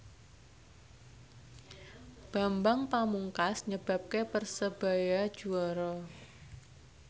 Bambang Pamungkas nyebabke Persebaya juara